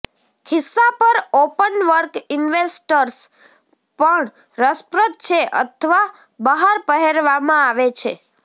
ખિસ્સા પર openwork investors પણ રસપ્રદ છે અથવા બહાર પહેરવામાં આવે છે